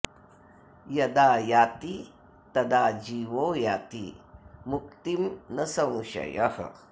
यदा याति तदा जीवो याति मुक्तिं न संशयः